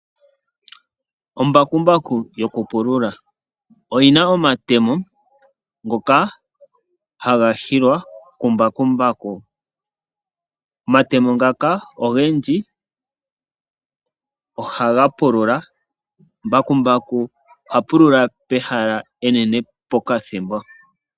Ombakumbaku yokupulula. Oyi na omatemo ngoka haga hilwa kumbakumbaku. Omatemo ngaka ogendji ohaga pulula. Mbakumbaku oha pulula pehala enene pokathimbo.